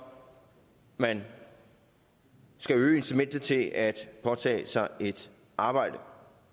når man skal øge incitamentet til at påtage sig et arbejde